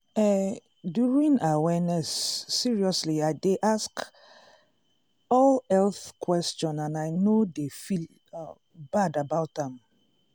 eh during awareness seriously i dey ask all health question and i no dey feel bad about am.